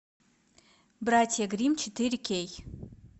братья гримм четыре кей